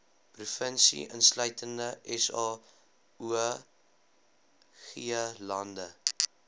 provinsie insluitende saoglande